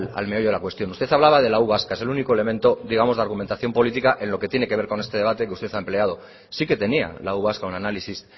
al meollo de la cuestión usted hablaba de la u vasca es el único elemento digamos de argumentación política en lo que tiene que ver este debate que usted ha empleado sí que tenía la u vasca un análisis